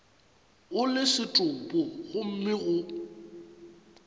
o le setopo gomme go